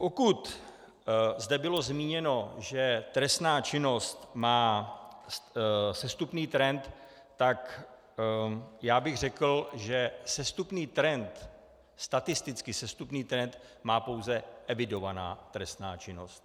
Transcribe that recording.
Pokud zde bylo zmíněno, že trestná činnost má sestupný trend, tak já bych řekl, že statisticky sestupný trend má pouze evidovaná trestná činnost.